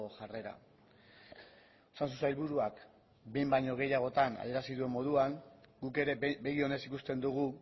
jarrera osasun sailburuak behin baino gehiagotan adierazi duen moduan guk ere begi onez ikusten dugu